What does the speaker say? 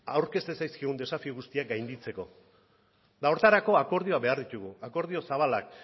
aurkezten zaizkigun desafio guztiak gainditzeko eta horretarako akordioak behar ditugu akordio zabalak